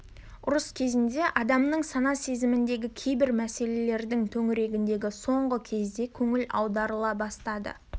ұрыс кезінде адамның сана-сезіміндегі кейбір мәселелердің төңірегіне соңғы кезде көңіл аударыла бастады